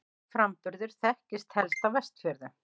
Sá framburður þekktist helst á Vestfjörðum.